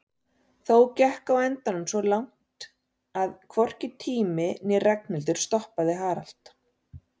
Þó gekk á endanum svo langt að hvorki tími né Ragnhildur stoppaði Harald.